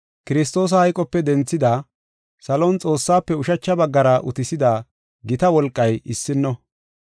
Kiristoosa hayqope denthidi, salon Xoossaafe ushacha baggara utisida gita wolqay issino.